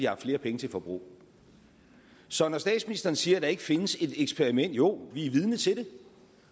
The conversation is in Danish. haft flere penge til forbrug så når statsministeren siger at der ikke findes et eksperiment så jo vi er vidne til det